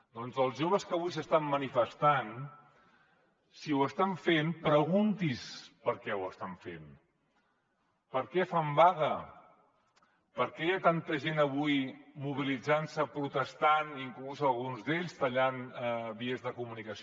doncs els joves que avui s’estan manifestant si ho estan fent pregunti’s per què ho estan fent per què fan vaga per què hi ha tanta gent avui mobilitzant se protestant inclús alguns d’ells tallant vies de comunicació